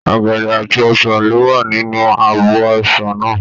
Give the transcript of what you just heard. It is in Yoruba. Ọ̀gẹ̀dẹ̀ àti ọsàn ló wà nínú abọ́ èso náà.